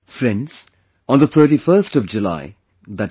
Friends, on the 31st of July i